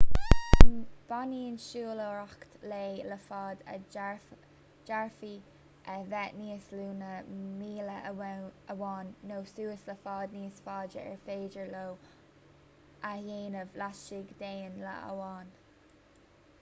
baineann siúlóireacht lae le faid a d'fhéadfadh a bheith níos lú ná míle amháin nó suas le faid níos faide ar féidir leo a dhéanamh laistigh d'aon lá amháin